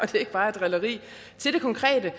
det ikke bare er drilleri til det konkrete